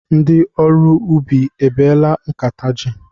Ndị ọrụ ubi ebeela nkata jị?